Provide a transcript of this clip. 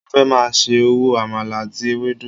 Mo fẹ́ máa ṣe òwò àmàlà àti ewédú